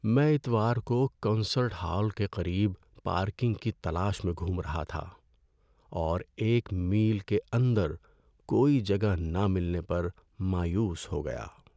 میں اتوار کو کنسرٹ ہال کے قریب پارکنگ کی تلاش میں گھوم رہا تھا اور ایک میل کے اندر کوئی جگہ نہ ملنے پر مایوس ہو گیا۔